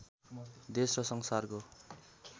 देश र संसारको